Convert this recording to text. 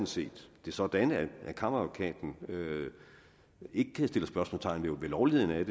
set sådan at kammeradvokaten ikke kan sætte spørgsmålstegn ved lovligheden af